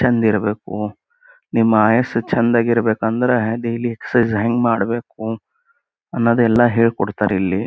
ಚೆಂದ ಇರಬೇಕು ನಿಮ್ಮ ಆಯಸ್ಸು ಚೆಂದಾಗಿ ಇರಬೇಕು ಅಂದರ್ ಡೆಲಿ ಎಕ್ಸರ್ಸೈಜ್ ಹೆಂಗ ಮಾಡ್ಬೇಕು ಅನ್ನದ ಹೆಳಿ ಕೊಡ್ತಾರ ಇಲ್ಲಿ.